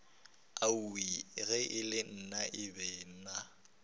owe ge e le nnaena